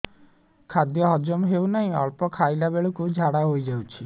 ଖାଦ୍ୟ ହଜମ ହେଉ ନାହିଁ ଅଳ୍ପ ଖାଇଲା ବେଳକୁ ଝାଡ଼ା ହୋଇଯାଉଛି